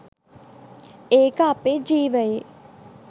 ඒක අපේ ජීවයේ